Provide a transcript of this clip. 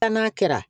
Taa n'a kɛra